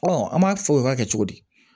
an b'a fɔ o b'a kɛ cogo di